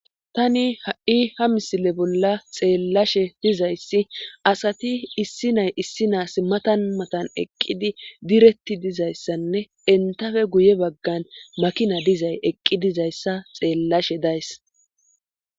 Tani ha7i ha misile bolla xeellashe dizayssi asati issi nay issi naas matan matan eqqidi diretti dizayssanne entafe guye baggan makina dizay eqqi dizayssa xeellashe days